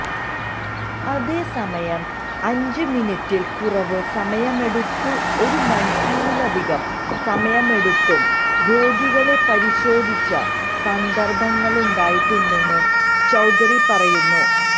അതേസമയം അഞ്ച് മിനുട്ടില് കുറവ് സമയമെടുത്തും ഒരുമണിക്കൂറിലധികം സമയമെടുത്തും രോഗികളെ പരിശോധിച്ച സന്ദര്ഭങ്ങളുണ്ടായിട്ടുണ്ടെന്ന് ചൌധരി പറയുന്നു